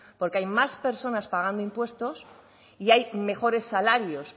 porque hay más personas pagando impuestos y hay mejores salarios